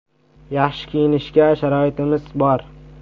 Yaxshi kiyinishga sharoitimiz bor.